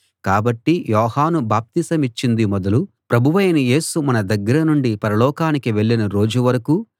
కాబట్టి యోహాను బాప్తిసమిచ్చింది మొదలు ప్రభువైన యేసు మన దగ్గర నుండి పరలోకానికి వెళ్ళిన రోజు వరకూ